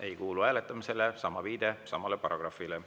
Ei kuulu hääletamisele, viide samale paragrahvile.